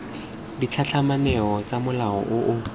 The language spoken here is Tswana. ditlhatlhamano tsa mola o o